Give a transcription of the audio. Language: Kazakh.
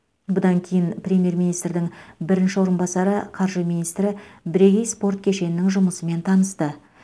бұдан кейін премьер министрдің бірінші орынбасары қаржы министрі бірегей спорт кешенінің жұмысымен танысты